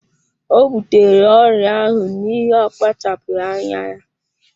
Ọ butere ọrịa ahụ n'ihi akpachapụghị anya ya.